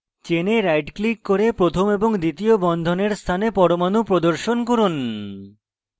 চেনে right click করে প্রথম এবং দ্বিতীয় বন্ধনের স্থানে পরমাণু প্রদর্শন করুন